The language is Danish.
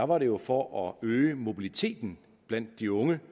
var det jo for at øge mobiliteten blandt de unge